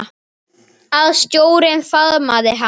Að sjórinn faðmi hana.